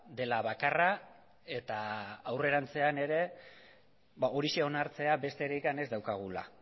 dela bakarra eta aurrerantzean ere horixe onartzea besterik ez daukagula